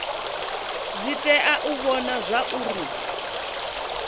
dzi tea u vhona zwauri